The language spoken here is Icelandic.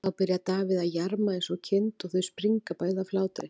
Þá byrjar Davíð að jarma eins og kind og þau springa bæði af hlátri.